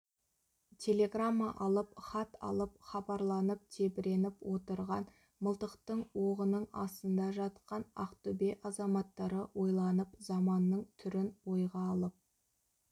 телеграмма алып хат алып хабарланып тебіреніп отырған мылтықтың оғының астында жатқан ақтөбе азаматтары ойланып заманның түрін ойға алып